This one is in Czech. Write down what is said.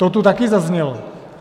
To tu taky zaznělo.